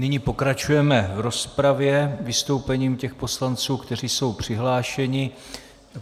Nyní pokračujeme v rozpravě vystoupením těch poslanců, kteří jsou přihlášeni.